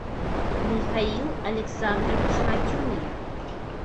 михаил александрович матюнин